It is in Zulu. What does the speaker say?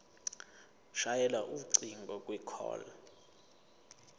shayela ucingo kwicall